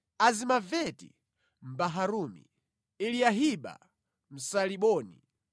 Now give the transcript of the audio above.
Azimaveti Mbaharumi, Eliyahiba Msaaliboni,